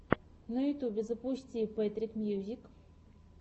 на ютубе запусти пэтрик мьюзик